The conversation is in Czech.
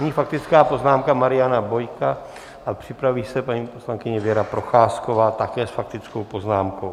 Nyní faktická poznámka Mariana Bojka a připraví se paní poslankyně Věra Procházková, také s faktickou poznámkou.